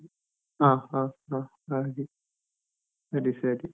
ಹ ಹ ಹ ಹಾಗೆ ಸರಿ ಸರಿ.